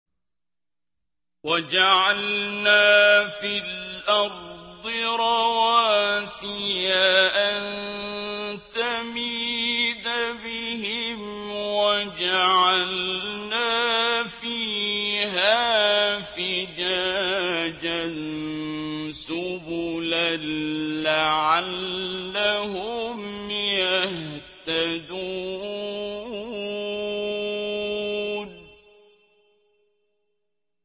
وَجَعَلْنَا فِي الْأَرْضِ رَوَاسِيَ أَن تَمِيدَ بِهِمْ وَجَعَلْنَا فِيهَا فِجَاجًا سُبُلًا لَّعَلَّهُمْ يَهْتَدُونَ